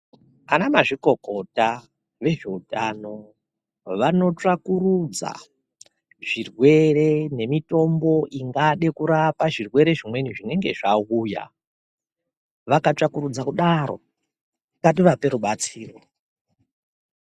Ana mazvikokota vezvehutano vanotsvakurudza zvirwere ngemitombo ingadai Kurapa zvinenge yauya vakatsbakurudza kudaro ngativaoe rubatsiro.